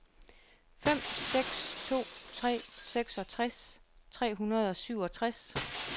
fem seks to tre seksogtres tre hundrede og syvogtres